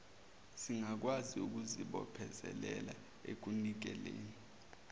zingakwazi ukuzibophezelela ekunikeleni